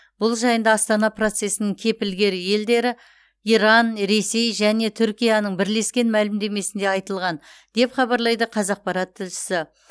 бұл жайында астана процесінің кепілгер елдері иран ресей және түркияның бірлескен мәлімдемесінде айтылған деп хабарлайды қазақпарат тілшісі